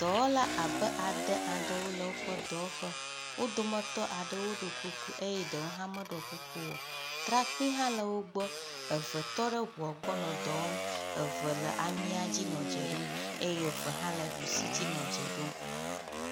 Dɔwɔla abe ade aɖewo le woƒe dɔwɔƒe. Wo dometɔ aɖewo ɖo kuku eye ɖewo hã meɖɔ kuku o. Trakpi hã le wo gbɔ. Eve tɔ ɖe ŋua gbɔ nɔ dɔ wɔm, eve le amia dzi nɔ dze ɖom eye eve hã le ɖusi dzi nɔ dze ɖom.